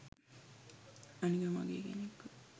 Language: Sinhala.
අනික මගේ කෙනෙක්ව